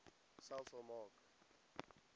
selfs al maak